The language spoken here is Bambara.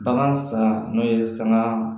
Bagan san n'o ye saga